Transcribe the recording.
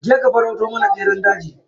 Je ka ka farauto mana beran daji.